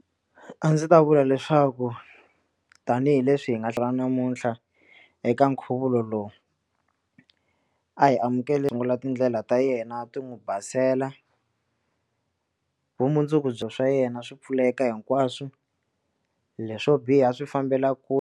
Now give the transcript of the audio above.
A ndzi ta vula leswaku tanihileswi hi nga hlangana namuntlha eka nkhuvulo lowu a hi amukeli tindlela ta yena ti n'wi basela na vumundzuku bya swa yena swi pfuleka hinkwaswo leswo biha swi fambela .